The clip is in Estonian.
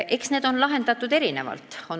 Eks seda ole lahendatud erinevalt.